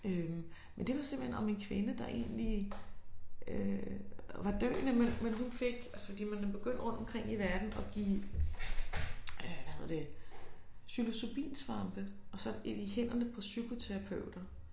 Øh men det var simpelthen om en kvinde der egentlig øh var døende men men hun fik altså de nemlig begyndt rundt om i verden at give øh hvad hedder det psilocybinsvampe og så i hænderne på psykoterapeuter